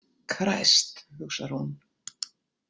Kræst, hugsar hún.